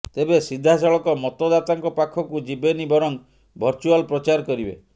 ତେବେ ସିଧାସଳଖ ମତଦାତାଙ୍କ ପାଖକୁ ଯିବେନି ବରଂ ଭର୍ଚୁଆଲ ପ୍ରଚାର କରିବେ